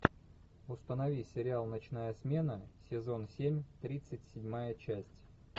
установи сериал ночная смена сезон семь тридцать седьмая часть